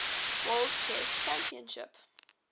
world chess championship